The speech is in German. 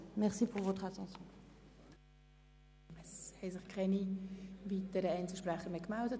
Es haben sich keine weiteren Einzelsprecher gemeldet.